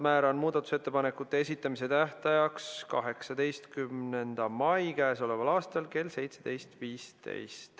Määran muudatusettepanekute esitamise tähtajaks k.a 18. mai kell 17.15.